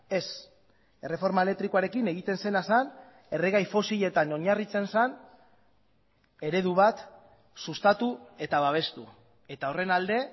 ez erreforma elektrikoarekin egiten zena zen erregai fosiletan oinarritzen zen eredu bat sustatu eta babestu eta horren alde